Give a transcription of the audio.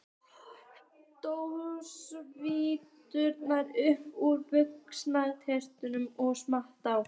Dró Svartadauða upp úr buxnastrengnum og saup á.